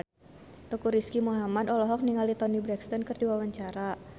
Teuku Rizky Muhammad olohok ningali Toni Brexton keur diwawancara